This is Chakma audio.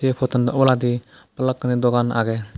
potan oboladi balukkani dugan aage.